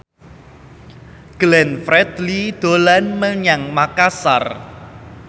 Glenn Fredly dolan menyang Makasar